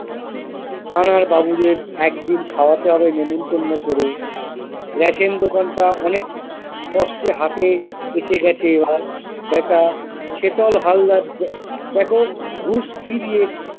থানার বাবুদের একদিন খাওয়াতে হবে নেমন্তন্ন করে র‍্যাশেন দোকানটা অনেক কষ্টে হাতে এসে গেছে আর ব্যাটা শেতল হালদার দ্যাখো ঘুষ কি দিয়ে।